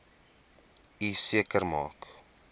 u seker maak